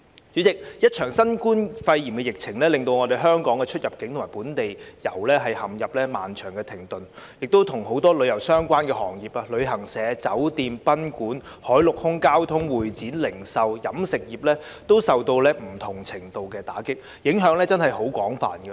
主席，一場新冠肺炎疫情令香港的出入境及本地遊陷入漫長的停頓，很多與旅遊相關的行業如旅行社、酒店、賓館、海陸空交通、會展、零售及飲食業，均受到不同程度的打擊，影響確實廣泛。